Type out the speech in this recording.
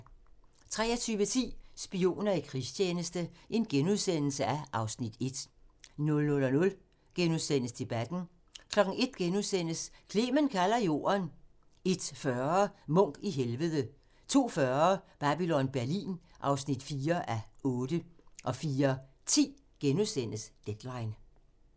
23:10: Spioner i krigstjeneste (Afs. 1)* 00:00: Debatten * 01:00: Clement kalder Jorden * 01:40: Munch i Helvede 02:40: Babylon Berlin (4:8) 04:10: Deadline *